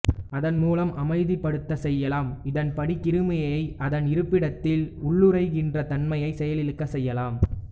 அதன் மூலம் அமைதிப்படுத்த செய்யலாம் இதன்படி கிருமியை அதன் இருப்பிடத்தில் உள்ளுறைகிற தன்மையைச் செயலிழக்கச் செய்யலாம்